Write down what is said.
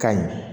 Ka ɲi